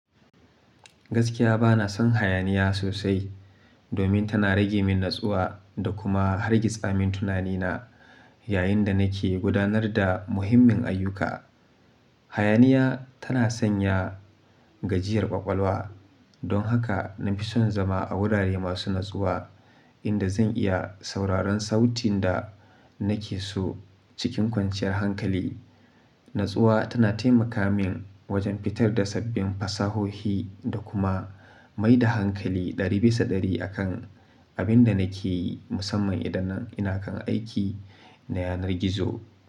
Gaskiya bana son hayaniya sosai. Domin tana rage min natsuwa da kuma hargitsa min tunanina yayin da nake gudanar da muhimmin ayyuka. Hayaniya tana sanya gajiyar ƙwaƙwalwa. Don haka na fi son zama a wurare masu natsuwa. Inda zan iya sauraron sautin da nake so cikin kwanciyar hankali. Natsuwa tana taimaka min wajen fitar da sabbin fasahohi da kuma mai da hankali ɗari bisa ɗari akan abin da nake yi musamman idan nan ina kan aiki. Na yanar gizo.